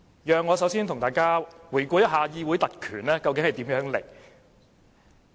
讓我先與大家回顧一下議會特權從何而來。